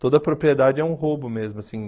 Toda propriedade é um roubo mesmo assim.